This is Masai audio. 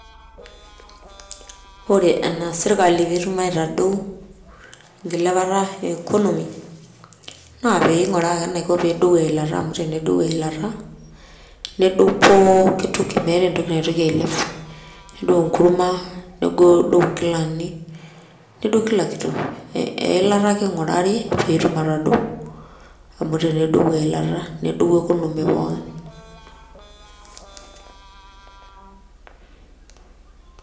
Ore enaas sirkali petum aitadou enkilepata economy naa pinguraa ake eneiko peedou eilata , nedou pooki toki , meeta entoki naitoki ailep, nedou enkurma , nedou inkilani, nedou kila kitu . Eilata ake ingurari pee etum atadou , amu tenedou eilata , nedou economy pookin .